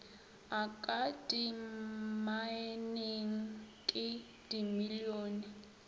a ka dimmaeneng ke dimilione